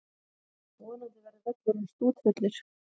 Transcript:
Vonandi verður völlurinn stútfullur.